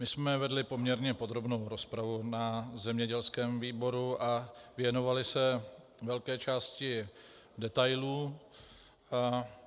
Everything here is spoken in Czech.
My jsme vedli poměrně podrobnou rozpravu na zemědělském výboru a věnovali se velké části detailů.